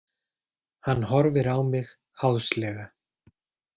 Hann horfir á mig háðslega.